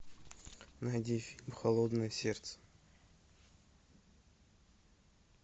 найди фильм холодное сердце